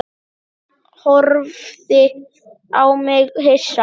Hann horfði á mig hissa.